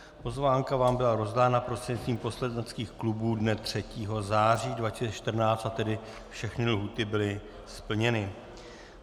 Pozvánka vám byla rozdána prostřednictvím poslaneckých klubů dne 3. září 2014, a tedy všechny lhůty byly splněny.